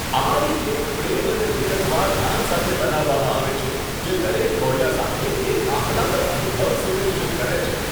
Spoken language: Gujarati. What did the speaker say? અમારી કેક પ્રેમ અને વિગતવાર ધ્યાન સાથે બનાવવામાં આવે છે, જે દરેક કોળિયા સાથે એક આહલાદક અનુભવ સુનિશ્ચિત કરે છે.